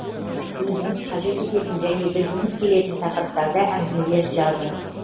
өзіңіз қажет ететін және білгіңіз келетін тақырыптарда әңгімелер жазыңыз